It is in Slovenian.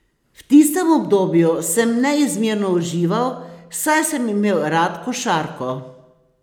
V tistem obdobju sem neizmerno užival, saj sem imel rad košarko.